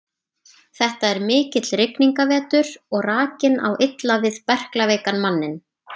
Þetta er mikill rigningarvetur og rakinn á illa við berklaveikan manninn.